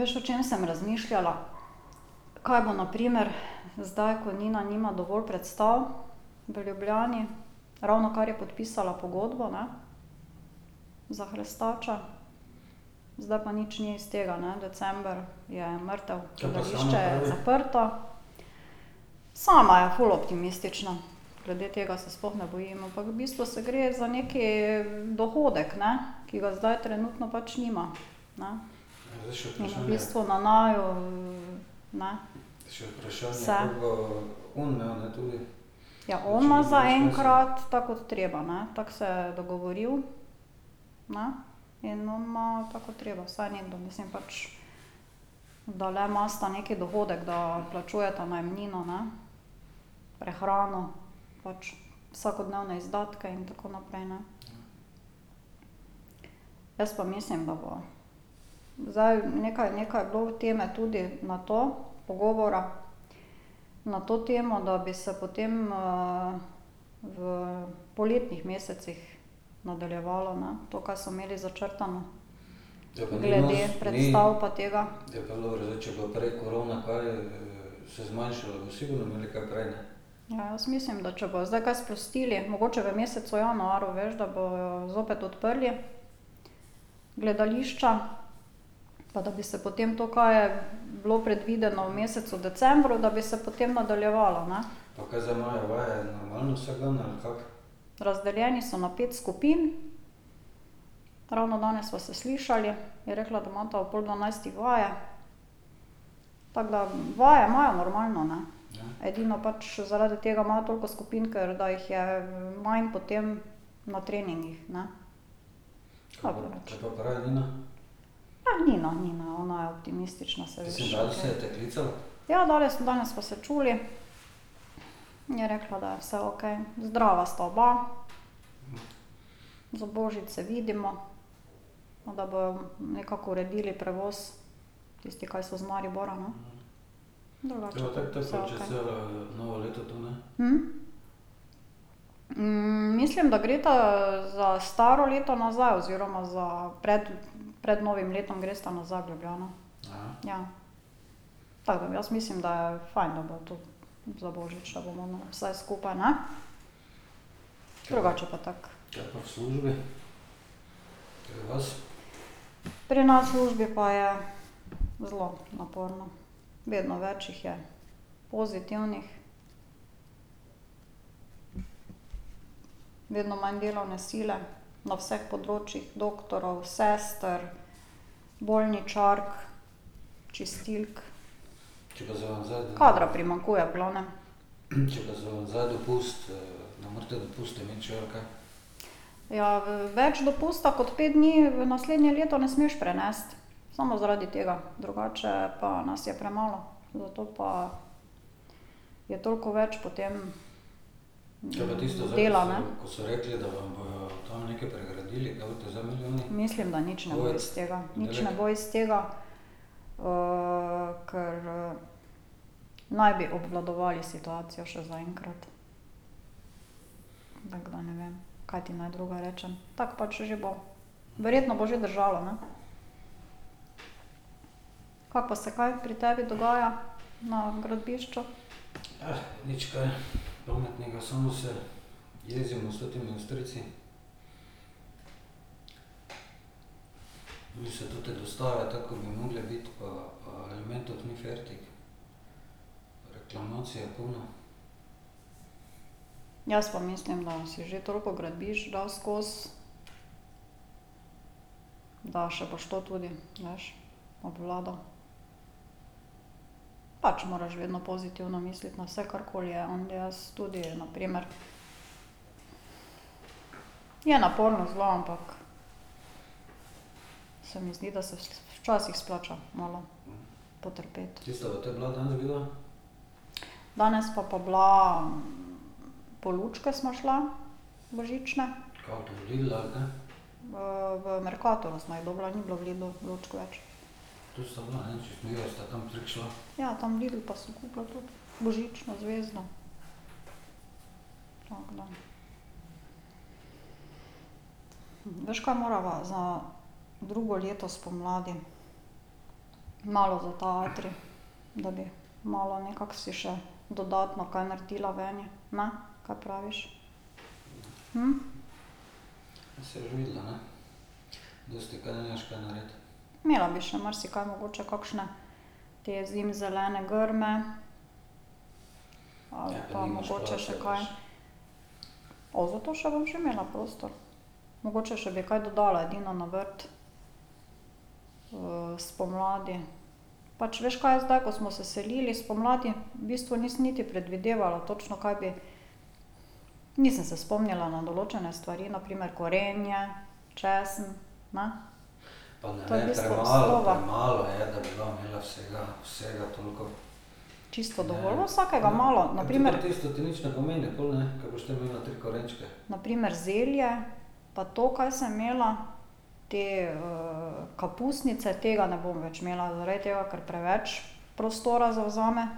Veš, o čem sem razmišljala? Kaj bo na primer zdaj, ko Nina nima dovolj predstav v Ljubljani, ravnokar je podpisala pogodbo, ne, za Hrestača, zdaj pa nič ni iz tega, ne, december je mrtev, gledališče je zaprto. Sama je ful optimistična. Glede tega se sploh ne bojim, ampak v bistvu se gre za neki dohodek, ne, ki ga zdaj trenutno pač nima, ne. V bistvu na naju, ne, vse. Ja on ima zaenkrat tako kot treba, ne, tako se je dogovoril, ne, in on ima tako, ko treba, vsaj nekdo, mislim pač ... Da le imata neki dohodek, da odplačujeta najemnino, ne, prehrano pač vsakodnevne izdatke in tako naprej, ne. Jaz pa mislim, da bo zdaj nekaj nekaj je bilo teme tudi na to, pogovora, na to temo, da bi se potem v poletnih mesecih nadaljevalo, ne, to, ka so imeli začrtano. Glede predstav pa tega. Ja, jaz mislim, da če bojo zdaj kaj sprostili, mogoče v mesecu januarju, veš, da bojo zopet odprli gledališča pa da bi se potem to, kaj je bilo predvideno v mesecu decembru, da bi se potem nadaljevalo, ne. Razdeljeni so na pet skupin. Ravno danes sva se slišali, je rekla, da imata ob pol dvanajstih vaje, tako da vaje imajo normalno, ne. Edino pač zaradi tega imajo toliko skupin, ker da jih je manj potem na treningih, ne. Pa Nina, Nina, ona je optimistična, saj veš. Ja, danes, danes sva se čuli. Je rekla, da je vse okej, zdrava sta oba. Za božič se vidimo, da bojo nekako uredili prevoz, tisti, kaj so iz Maribora, ne. Drugače pa vse okej. mislim, da gresta za staro leto nazaj, oziroma za pred, pred novim letom gresta nazaj v Ljubljano. Ja. Tako da jaz mislim, da je fajn, da bo to za božič, da bomo vsaj skupaj, ne. Drugače pa tako ... Pri nas v službi pa je zelo naporno. Vedno več jih je pozitivnih. Vedno manj delovne sile, na vseh področjih, doktorjev, sester, bolničark, čistilk. Kadra primanjkuje v glavnem. Ja, več dopusta kot pet dni v naslednje leto ne smeš prenesti. Samo zaradi tega, drugače pa nas je premalo. Zato pa je toliko več potem ... Dela, ne. Mislim, da nič ne bo iz tega. Nič ne bo iz tega. kar naj bi obvladovali situacijo še zaenkrat. Tako da ne vem, kaj ti naj drugega rečem. Tako pač že bo. Verjetno bo že držalo, ne. Kako pa se kaj pri tebi dogaja na gradbišču? Jaz pa mislim, da si že toliko gradbišč dal skozi, da še boš to tudi, veš, obvladal. Pač moraš vedno pozitivno misliti na vse, karkoli je, jaz tudi, na primer. Je naporno zelo, ampak se mi zdi, da se včasih splača malo potrpeti. Danes pa pa bila, po lučke sva šla, božične. v Mercatorju sva jih dobila, ni bilo v Lidlu lučk več. Ja, tam v Lidlu pa sem kupila tudi božično zvezdo. Tako da. Veš, kaj morava za drugo leto spomladi? Malo za ta atrij. Da bi malo nekako si še dodatno kaj naredila veni, ne? Kaj praviš? Imela bi še marsikaj, mogoče kakšne, te zimzelene grme. Ali pa mogoče še kaj ... O zato še bom že imela prostor. Mogoče še bi kaj dodala edino na vrt. spomladi. Pač veš kaj, zdaj, ko smo se selili spomladi, v bistvu nisem niti predvidevala točno, kaj bi. Nisem se spomnila na določene stvari, na primer korenje, česen, ne. To je v bistvu osnova. Čisto dovolj, vsakega malo, na primer ... Na primer zelje pa to, kaj sem imela, te kapusnice, tega ne bom več imela, zaradi tega, ker preveč prostora zavzame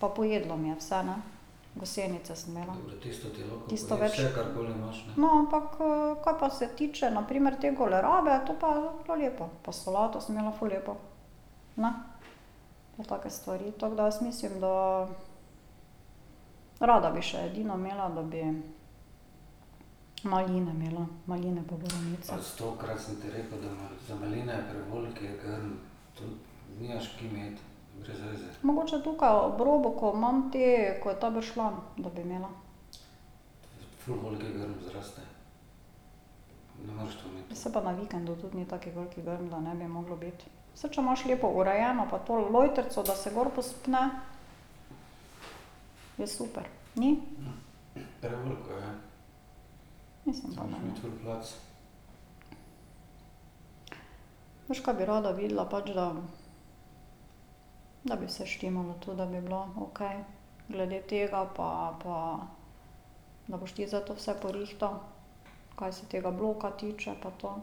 pa pojedlo mi je vse, ne. Gosenice sem imela. No, ampak kar pa se tiče na primer te kolerabe, to pa je bilo lepo pa solato sem imela ful lepo, ne, pa take stvari. Tako da jaz mislim, da rada bi še edino imela, da bi maline imela. Maline pa borovnice. Mogoče tukaj ob robu, ko imam te, ko je ta bršljan, da bi imela. Pa saj pa na vikendu tudi ni tak velik grm, da ne bi moglo biti. Saj če imaš lepo urejeno pa to, lojtrico, da se gor povzpne, je super, ni? Mislim pa, da ne. Veš, ka bi rada videla? Pač da da bi vse štimalo to, da bi bilo okej glede tega pa pa, da boš ti zdaj to vse porihtal, kaj se tega bloka tiče pa to.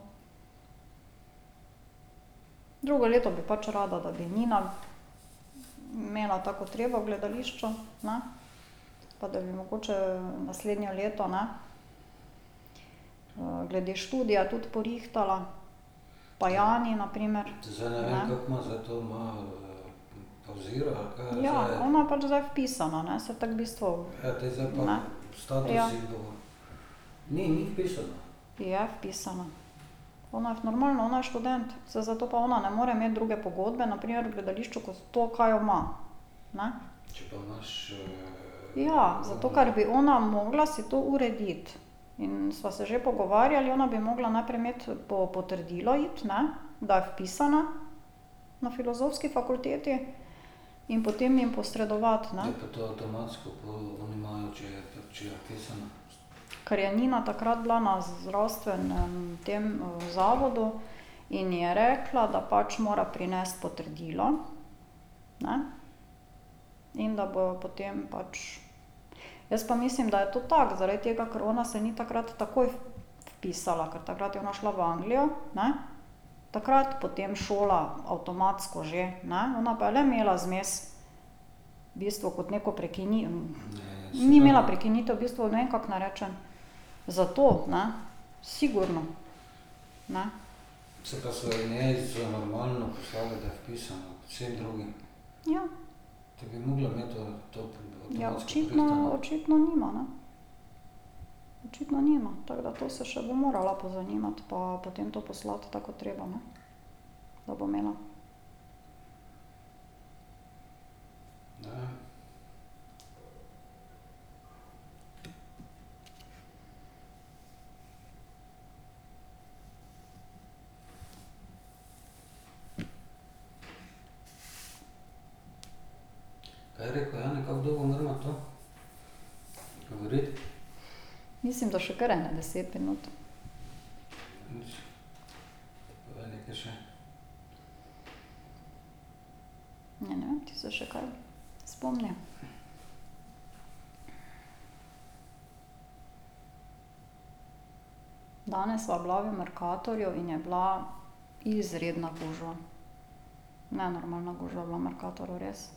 Drugo leto bi pač rada, da bi Nina imela tako, ko treba v gledališču, ne, pa da bi mogoče naslednje leto, ne, glede študija tudi porihtala pa Jani na primer. Ja, ona pač zdaj vpisana, ne, saj tako v bistvu ... Ja. Je vpisana. Ona je normalno, ona je študent, saj zato pa ona ne more imeti druge pogodbe, na primer v gledališču, ko to, ka jo ima, ne. Ja, zato ker bi ona mogla si to urediti. In sva se že pogovarjali, ona bi mogla najprej imeti, po potrdilo iti, ne, da je vpisana na filozofski fakulteti, in potem jim posredovati, ne. Kar je Nina takrat bila na zdravstvenem, tem zavodu in je rekla, da pač mora prinesti potrdilo, ne, in da bo potem pač ... Jaz pa mislim, da je to tako, zaradi tega, ker se ona ni takrat takoj vpisala, ker takrat je ona šla v Anglijo, ne, takrat potem šola avtomatsko že, ne, ona pa je le imela zmes v bistvu kot neko ni imela prekinitev, v bistvu ne vem, kako naj rečem. Zato, ne. Sigurno, ne. Ja. Ja, očitno, očitno nima, ne. Očitno nima, tako da to se še bo morala pozanimati pa potem to poslati tako, ko treba, ne. Da bo imela. Mislim, da še kar ene deset minut. Ja, ne vem, ti se še kaj spomni. Danes sva bila v Meckatorju in je bila izredna gužva. Nenormalna gužva je bila v Mercatorju, res.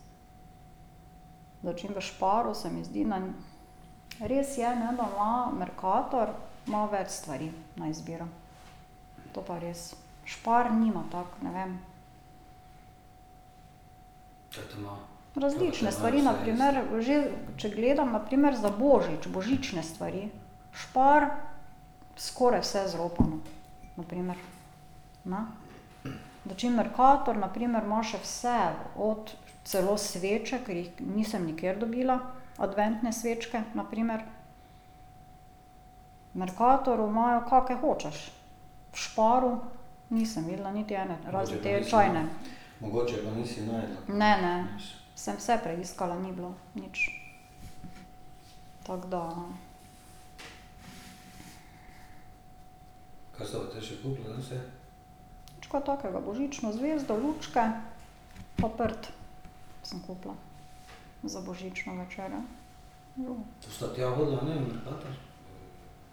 Dočim v Sparu se mi zdi na res je, ne, da ima Mercator, ima več stvari na izbiro. To pa res. Spar nima tako, ne vem. Različne stvari, na primer že če gledam na primer za božič, božične stvari. Spar, skoraj vse zropano. Na primer, ne. Dočim Mercator na primer ima še vse od, celo sveče, ker jih nisem nikjer dobila, adventne svečke na primer. V Mercatoru imajo, kake hočeš. V Sparu nisem videla niti ene, razen te čajne. Ne, ne. Sem vse preiskala, ni bilo nič. Tako da ... Nič kaj takega, božično zvezdo, lučke pa prt sem kupila, za božično večerjo. Drugo ...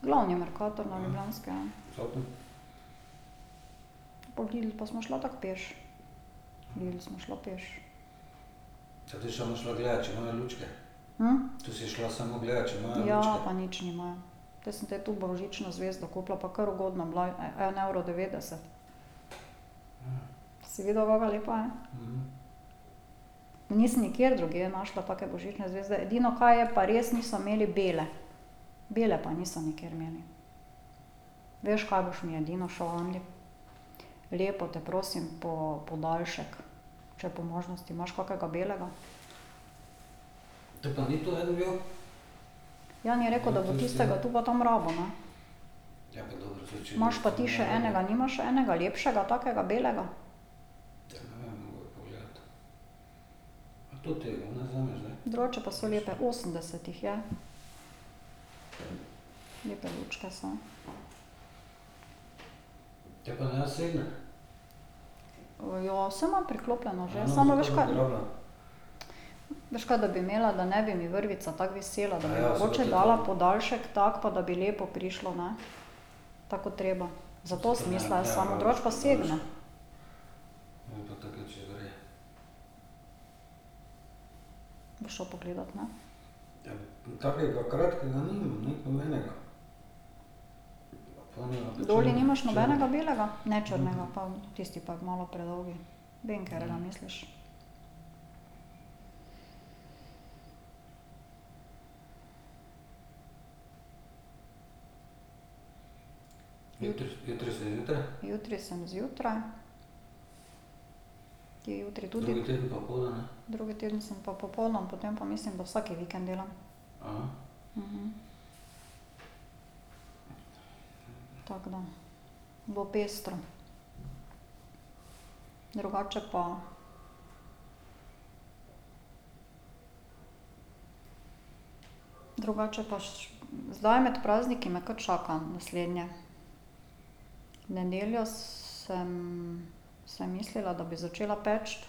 Glavni Mercator na Ljubljanski, ja. Pol v Lidl pa sva šla tako peš. V Lidl sva šla peš. Ja, pa nič nimajo. Te sem te tu božično zvezdo kupila pa kar ugodno, bila je en evro devetdeset. Si videl, kaka lepa je? Nisem nikjer drugje našla take božične zvezde, edino kaj je pa res, niso imeli bele. Bele pa niso nikjer imeli. Veš, ka boš mi edino šel ? Lepo te prosim, po podaljšek. Če po možnosti imaš kakega belega. Jani je rekel, da bo tistega tu pa tam rabil, no. Imaš pa ti še enega, nimaš enega lepšega takega belega? Drugače pa so lepe, osemdeset jih je. Lepe lučke so. Ja, saj imam priklopljeno že, samo veš kaj ... Veš kaj, da bi imela, da ne bi mi vrvica tako visela, da bi mogoče dala podaljšek tako pa da bi lepo prišlo, ne. Tako, kot treba. Zato sem mislila jaz samo, drugač pa segne. Boš šel pogledat, ne? Doli nimaš nobenega belega? Ne črnega, pa tisti pa je malo predolg. Vem, katerega misliš. Jutri sem zjutraj. Ti jutri tudi ... Drugi teden sem pa popoldan, potem pa mislim, da vsak vikend delam. Tako da bo pestro. Drugače pa ... Drugače pa zdaj med prazniki me kar čaka naslednje. V nedeljo sem sem mislila, da bi začela peči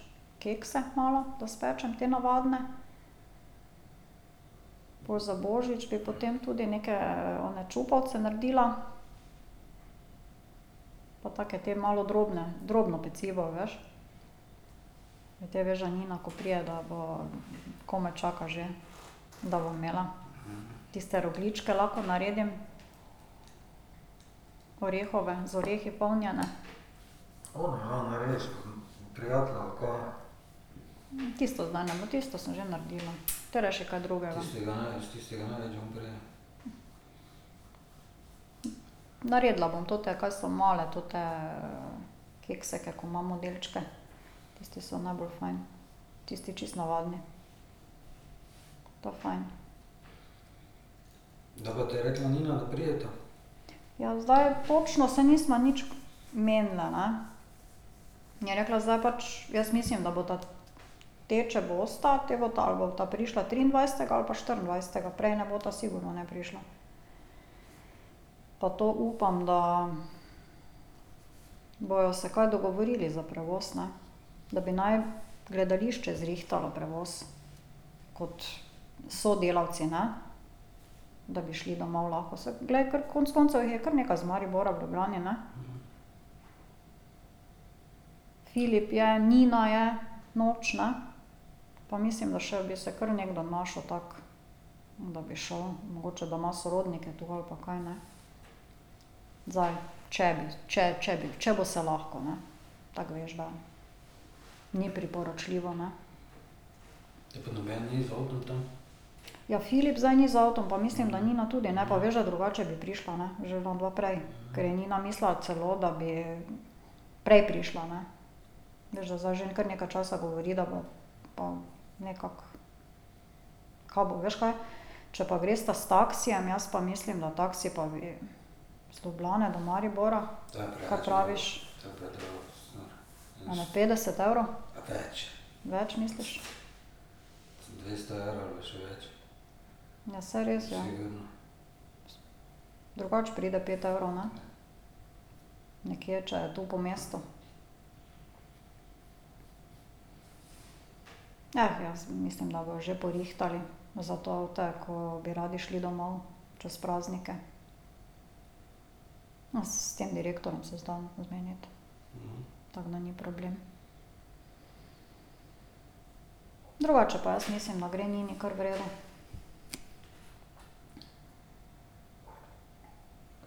kekse malo, da spečem, te navadne. Pol za božič bi potem tudi neke one čupavce naredila. Pa take te malo drobne, drobno pecivo, veš. Ti veš, da Nina, ko pride, da bo, komaj čaka že, da bo imela. Tiste rogljičke lahko naredim, orehove, z orehi polnjene. Tisto zdaj ne bo, tisto sem že naredila, te rajši kaj drugega. Naredila bom te, kaj so male, te kekse, ko imam modelčke. Tisti so najbolj fajn. Tisti čisto navadni. To fajn. Ja, zdaj točno se nisva nič menile, ne. Je rekla zdaj pač, jaz mislim, da bosta, te če bosta, te bosta ali bosta prišla triindvajsetega ali pa štiriindvajsetega, prej ne bosta sigurno ne prišla. Pa to upam, da bojo se kaj dogovorili za prevoz, ne. Da bi naj gledališče zrihtalo prevoz. Kot sodelavci, ne. Da bi šli domov lahko, saj glej, ker konec koncev jih je kar nekaj iz Maribora v Ljubljani, ne. Filip je, Nina je, Noč, ne. Pa mislim, da še bi se kar nekdo našel tako, da bi šel, mogoče, da ima sorodnike tu, ali pa kaj, ne. Zdaj če bi, če če bi, če bo se lahko, ne. Tako veš, da ni priporočljivo, ne. Ja, Filip zdaj ni z avtom pa mislim, da Nina tudi ne, pa veš, da drugače bi prišla, ne, že onadva prej. Ker je Nina mislila celo, da bi prej prišla, ne. Veš, da zdaj že kar nekaj časa govori, da bo pa nekako. Kaj bo, veš kaj? Če pa gresta s taksijem, jaz pa mislim, da taksi pa iz Ljubljane do Maribora, kaj praviš? Ene petdeset evrov? Več misliš? Ja, saj res, ja. Drugače pride pet evrov, ne? Nekje, če je tu po mestu. jaz mislim, da bojo že porihtali za te, ki bi radi šli domov čez praznike. No, s tem direktorjem se da zmeniti. Tako da ni problem. Drugače pa jaz mislim, da gre Nini kar v redu.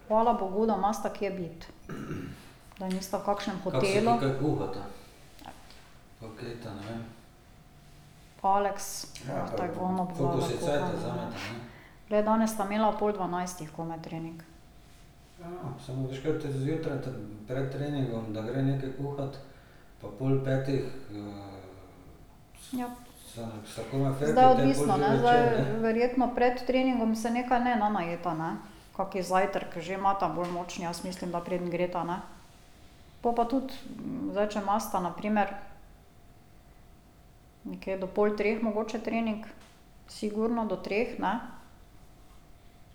Hvala bogu, da imata kje biti. Da nista v kakšnem hotelu. Aleks ... Glej, danes sta imela ob pol dvanajstih komaj trening. Ja ... Zdaj odvisno, ne, zdaj verjetno pred treningom se nekaj ne najeta, ne. Kak zajtrk že imata bolj močan, jaz mislim, da preden gresta, ne. Pol pa tudi, zdaj če imata na primer nekje do pol treh mogoče trening, sigurno do treh, ne,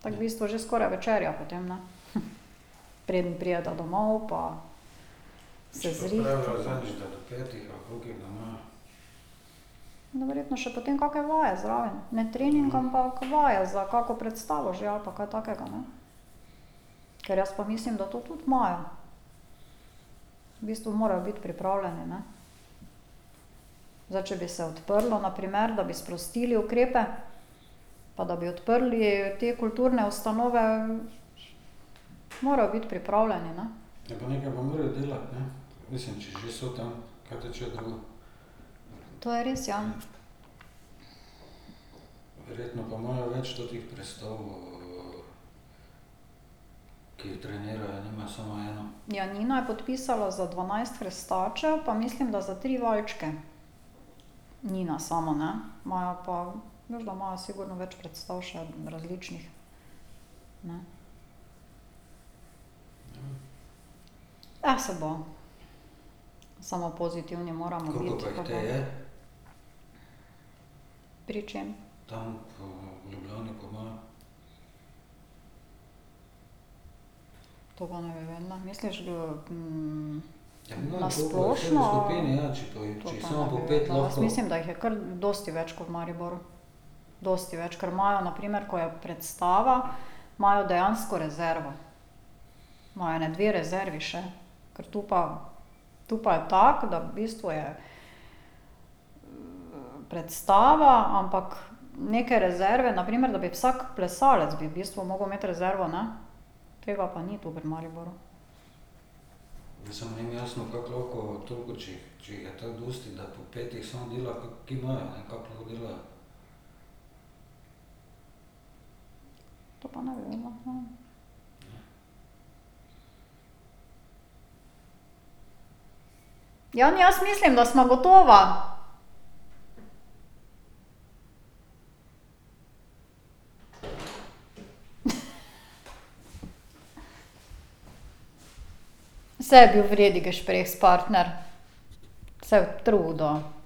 tako v bistvu že skoraj večerja potem, ne. Preden prideta domov pa se zrihtata. No, verjetno še potem kake vaje zraven, ne trening, ampak vaje za kako predstavo že, ali pa kaj takega, ne. Ker jaz pa mislim, da to tudi imajo, v bistvu morajo biti pripravljeni, ne. Zdaj, če bi se odprlo, na primer, da bi sprostili ukrepe pa da bi odprli te kulturne ustanove, morajo biti pripravljeni, ne. To je res, ja. Ja, Nina je podpisala za dvanajst Hrestačev pa mislim, da za tri valčke. Nina samo, ne, imajo pa, veš, da imajo sigurno več predstav še različnih, ne. saj bo, samo pozitivni moramo biti, pa bo. Pri čem? To pa ne bi vedela, misliš v ... Na splošno? To pa ne bi vedela. Jaz mislim, da jih je kar dosti več ko v Mariboru. Dosti več, ker imajo na primer, ko je predstava, imajo dejansko rezervo. Imajo ene dve rezervi še. Ker tu pa, tu pa je tako, da v bistvu je predstava, ampak neke rezerve, na primer, da bi vsak plesalec bi v bistvu moral imeti rezervo, ne. Tega pa ni tu v Mariboru. To pa ne bi vedela, ne vem. Jan, jaz mislim, da sva gotova. Saj je bil v redu gešprehspartner, se je trudil.